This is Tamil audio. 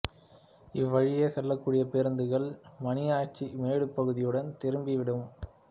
இவ்வழியே செல்லக் கூடிய பேருந்துகள் மணியாச்சி மேடு பகுதியுடன் திரும்பி விடும்